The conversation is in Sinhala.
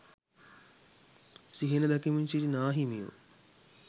සිහින දකිමින් සිටි නාහිමියෝ